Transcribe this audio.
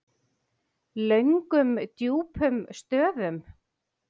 Löngum djúpum stöfum.